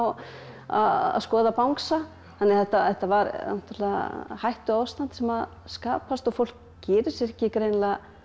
að skoða bangsa þannig að þetta þetta var náttúrulega hættuástand sem skapast og fólk gerir sér ekki greinilega